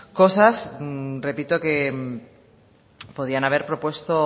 cosas repito que podían haber propuesto